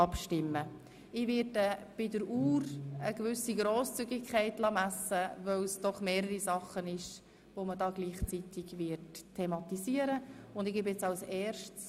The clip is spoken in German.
Hinsichtlich der Sprechdauer werde ich eine gewisse Grosszügigkeit walten lassen, da gleichzeitig mehrere Themen zur Sprache kommen.